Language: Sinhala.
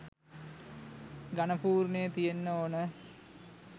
ඝණ පූර්ණය තියෙන්න ඕන.